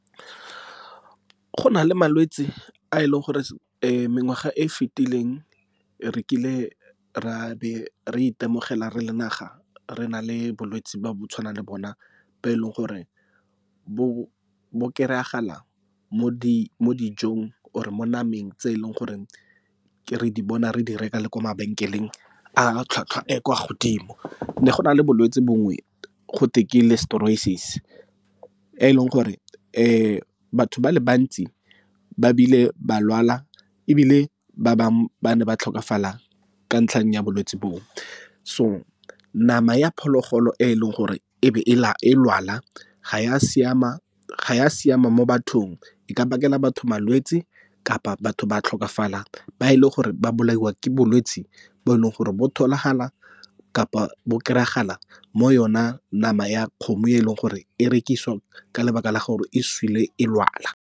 Go na le malwetse a e leng gore mengwaga e fitileng re kile re a be re itemogela re le naga, re na le bolwetse bo bo tshwanang le bona bo e leng gore bo kry-agala mo dijong or mo nameng tse e leng gore re di bona re di reka le ko mabenkeleng a tlhwatlhwa e e kwa godimo. Ne go na le bolwetse bongwe gotwe ke Listeriosis, e leng gore batho ba le bantsi ba bile ba lwala ebile ba bangwe ba ne ba tlhokafala ka ntlheng ya bolwetse boo. So nama ya phologolo e leng gore e be e e lwala ga ya siama mo bathong e ka bakela batho malwetse, kapa batho ba tlhokafala ba e le gore ba bolaiwa ke bolwetse bo e leng gore bo tholagala kapa bo kry-agala mo yona nama ya kgomo e leng gore e rekisiwa ka lebaka la gore e sule e lwala.